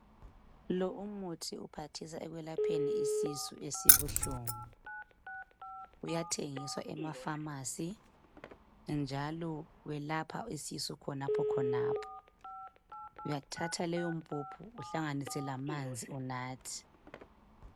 Lo umuthi uphathisa ekwelapheni isisu esibuhlungu. Uyathengiswa emafamasi, njalo welapha isisu khonapho khonapho. Uyathatha leyo mpuphu uhlanganise lamanzi unathe.